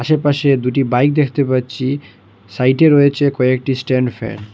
আশেপাশে দুটি বাইক দেখতে পাচ্ছি সাইটে রয়েছে কয়েকটি স্ট্যান্ড ফ্যান ।